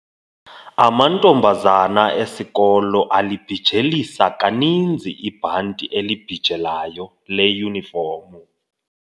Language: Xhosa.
Amantombazana esikolo alibhijelisa kaninzi ibhanti elibhijelayo leyunifomu.